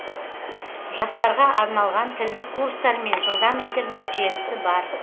жастарға арналған тілдік курстар мен жылдам интернет желісі бар